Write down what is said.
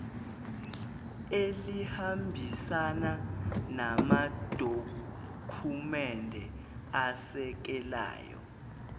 elihambisana namadokhumende asekelayo